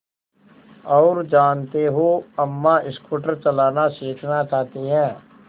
और जानते हो अम्मा स्कूटर चलाना सीखना चाहती हैं